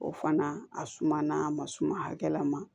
O fana a suma na a ma suma hakɛla ma